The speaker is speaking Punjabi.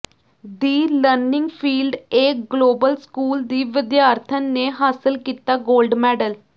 the Learning Field A Global School ਦੀ ਵਿਦਿਆਰਥਣ ਨੇ ਹਾਸਲ ਕੀਤਾ ਗੋਲਡ ਮੈਡਲ